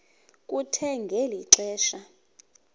kuthe ngeli xesha